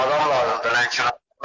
Adam lazımdır Lənkərannan mənə.